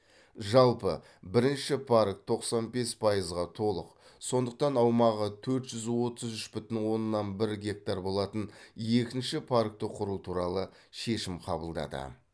жалпы бірінші парк тоқсан бес пайызға толық сондықтан аумағы төрт жүз отыз үш бүтін оннан бір гектар болатын екінші паркті құру туралы шешім қабылдады